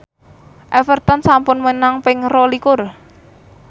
Everton sampun menang ping rolikur